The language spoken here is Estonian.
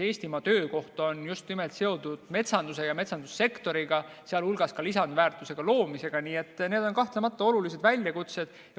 Eestimaa töökoht seotud just nimelt metsanduse ja metsandussektoriga, sh lisandväärtuse loomisega, nii et need on kahtlemata olulised väljakutsed.